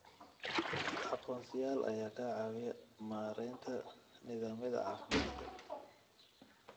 Aqoonsiyaal ayaa ka caawiya maaraynta nidaamyada caafimaadka.